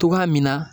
Togoya min na